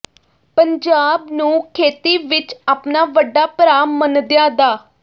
ਪੰਜਾਬ ਨੂੰ ਖੇਤੀ ਵਿੱਚ ਆਪਣਾ ਵੱਡਾ ਭਰਾ ਮੰਨਦਿਆਂ ਡਾ